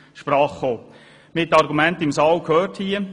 Wir haben die Argumente gehört: